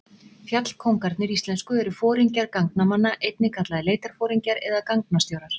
Fjallkóngarnir íslensku eru foringjar gangnamanna, einnig kallaðir leitarforingjar eða gangnastjórar.